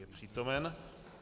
Je přítomen.